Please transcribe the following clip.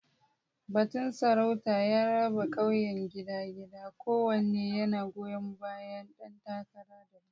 Batun sarauta ya raba ƙauyen gida-gida, kowanne yana goyon bayan ɗan takara daban.